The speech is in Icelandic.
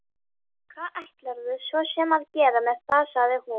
Hvað ætlarðu svo sem að gera með það, sagði hún.